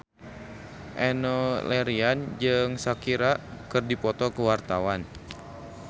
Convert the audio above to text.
Enno Lerian jeung Shakira keur dipoto ku wartawan